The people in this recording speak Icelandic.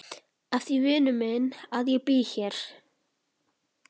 Af því vinur minn að ég bý hér.